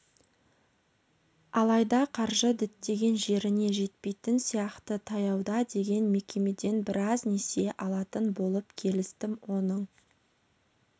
алайда қаржы діттеген жеріне жетпейтін сияқты таяуда деген мекемеден біраз несие алатын болып келістім оның